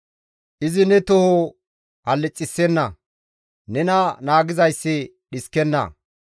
Izi ne toho hallixissenna; nena naagizayssi dhiskenna.